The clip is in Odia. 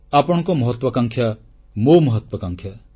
ଆପଣଙ୍କ ମହତ୍ୱାକାଂକ୍ଷା ମୋ ମହାତ୍ୱାକାଂକ୍ଷା